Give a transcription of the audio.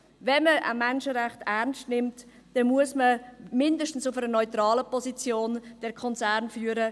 Wenn man Menschenrechte ernst nimmt, muss man den Konzern mindestens auf einer neutralen Position führen.